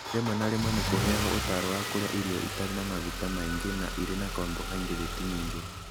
Rĩmwe na rĩmwe nĩ kũheagwo ũtaaro wa kũrĩa irio itarĩ na maguta maingĩ na irĩ na carbohydrate nyingĩ.